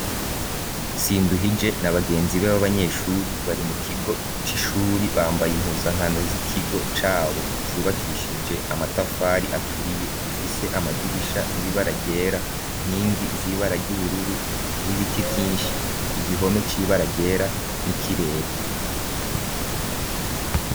Sinduhije na bagenzi be b'abanyeshuri bari mu kigo c'ishuri bambaye impuza nkano z'ikigo cabo cubakishije amatafari aturiye gifise amadirisha y'ibara ryera inkingi z'ibara ry'ubururu n'ibiti vyinshi igihome c'ibaragera n'ikirere.